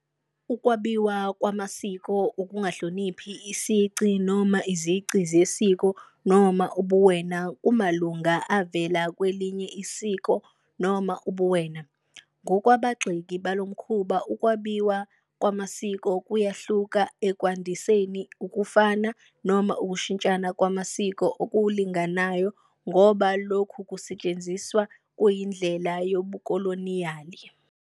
Ukwabiwa kwamasiko ukungahloniphi isici noma izici zesiko noma ubuwena kumalunga avela kwelinye isiko noma ubuwena. Ngokwabagxeki balo mkhuba, ukwabiwa kwamasiko kuyahluka ekwandiseni, ukufana, noma ukushintshana kwamasiko okulinganayo ngoba lokhu kusetshenziswa kuyindlela yobukoloniyali.